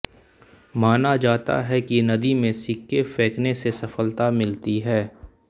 माना जाता है कि नदी में सिक्के फेंकने से सफ़लता मिलती है